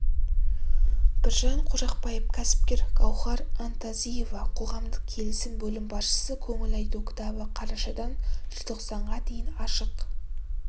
біржан қожақов кәсіпкер гауһар антазиева қоғамдық келісім бөлім басшысы көңіл айту кітабы қарашадан желтоқсанға дейін ашық